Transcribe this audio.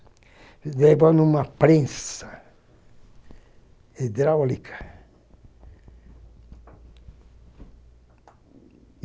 É igual em uma prensa hidráulica.